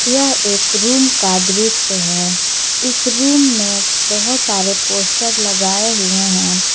यह एक रूम का दृश्य है इस रूम में बहोत सारे पोस्टर लगाए हुए हैं।